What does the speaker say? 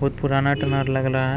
बहुत पुराना टनल लग रहा है।